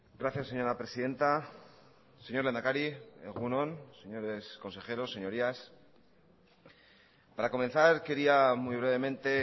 gracias señora presidenta señor lehendakari egun on señores consejeros señorías para comenzar quería muy brevemente